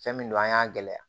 Fɛn min don an y'a gɛlɛya